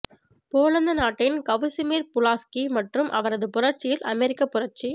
Poland நாட்டின் Casimir Pulaski மற்றும் அவரது புரட்சியில் அமெரிக்கப் புரட்சி